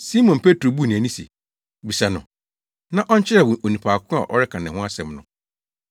Simon Petro buu nʼani se, “Bisa no na ɔnkyerɛ wo onipa ko a ɔreka ne ho asɛm no.”